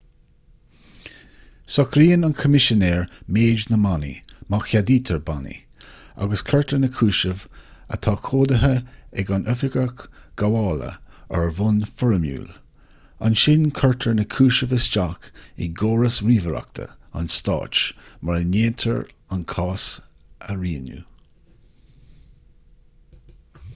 socraíonn an coimisinéir méid na mbannaí má cheadaítear bannaí agus cuirtear na cúisimh atá comhdaithe ag an oifigeach gabhála ar bhonn foirmiúil ansin cuirtear na cúisimh isteach i gcóras ríomhaireachta an stáit mar a ndéantar an cás a rianú